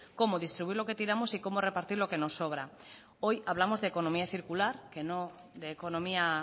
cómo distribuir lo que tiramos y cómo repartir lo que nos sobra hoy hablamos de economía circular que no de economía